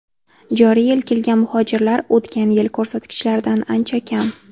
Joriy yil kelgan muhojirlar o‘tgan yil ko‘rsatkichlaridan ancha kam.